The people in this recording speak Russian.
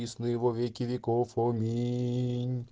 присно и во веки веков аминь